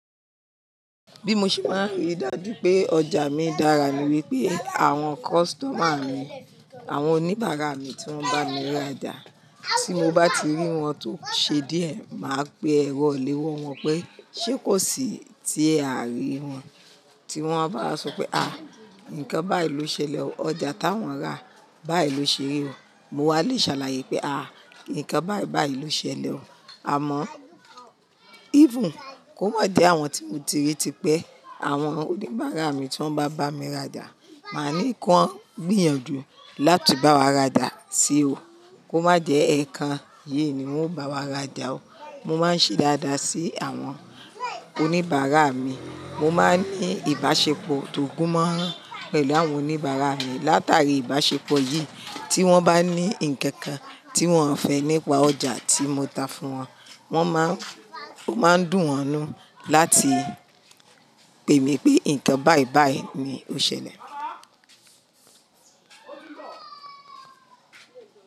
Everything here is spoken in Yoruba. Bí mo ṣe máa ríi dájú pé ọjà mi dára ni wípé àwọn customer mi, àwọn oníbàárà mi tí wọ́n bá mi ra ọjà, tí mo bá ti rí wọn tó ṣe díẹ̀, màá pe èrọ iléwọ́ wọn pé ṣé kò sì tí a rí wọn? Ti wọ́n bá máa sọ pé àá nǹkan báyìí ló ṣẹlẹ̀ o, ọjà táwọn rà báyìí ló ṣe ri o. Mo wá lè ṣàlàyé pé àá nǹkan báyìí báyìí ló ṣẹlẹ̀ o. Àmọ́, even kó má jẹ àwọn tí mo ti ríi típẹ́, àwọn oníbàárà mi tí wọ́n bá bá mi ra ọjà, màá ní kí wọ́n gbìyànjú láti bá wa ra ọjà sí o. Kó má jẹ ẹ̀kan yìí ni wọn ó bá wa ra ọjà o. Mo máa ń ṣe dáadáa sí àwọn oníbàárà mi. Mo máa ń ní ìbáṣepọ̀ tó gúnmọ́ran pẹ̀lú àwọn oníbàárà mi. Látàrí ìbáṣepọ̀ yìí, tí wọ́n bá ní ǹkan kan tí wọ́n fẹ́ nípa ọjà tí mo tá fún wọn, wọ́n má ń, ó máa dùn wọ́n mú láti pè mí pé nǹkan báyìí báyìí ni ó ṣẹlẹ̀